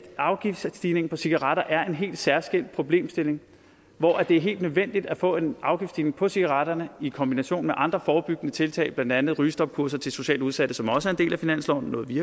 afgiftsstigningen på cigaretter er en helt særskilt problemstilling hvor det er helt nødvendigt at få en afgiftsstigning på cigaretterne i kombination med andre forebyggende tiltag blandt andet rygestopkurser til socialt udsatte som også er en del af finansloven noget vi